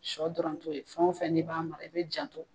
Shɔ dɔrɔntɔ ye, fɛn o fɛn n' b'a mara i bɛ janto.